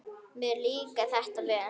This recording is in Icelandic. Mér líkar þetta vel.